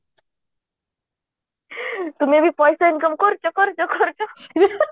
ତୁମେ ବି ପଇସା income କରୁଛୁ କରୁଛୁ କରୁଛୁ lauching